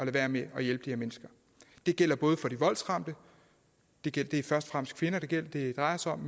være med at hjælpe de her mennesker det gælder både for de voldsramte det det er først og fremmest kvinder det det drejer sig om